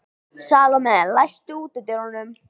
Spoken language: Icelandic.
Salome, læstu útidyrunum.